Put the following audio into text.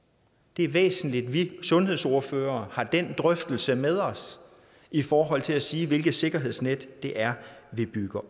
det er væsentligt at vi sundhedsordførere har den drøftelse med os i forhold til at sige hvilke sikkerhedsnet det er vi bygger